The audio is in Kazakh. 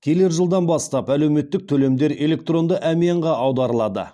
келер жылдан бастап әлеуметтік төлемдер электронды әмиянға аударылады